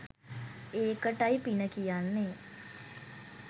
ඒකටයි පින කියන්නේ